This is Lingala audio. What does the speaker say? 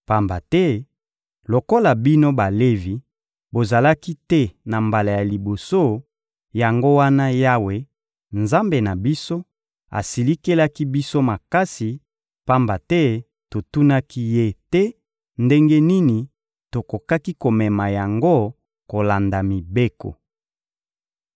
Pamba te lokola bino Balevi bozalaki te na mbala ya liboso, yango wana Yawe, Nzambe na biso, asilikelaki biso makasi; pamba te totunaki Ye te ndenge nini tokokaki komema yango kolanda mibeko.»